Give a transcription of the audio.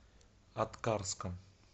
аткарском